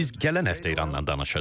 Biz gələn həftə İranla danışacağıq.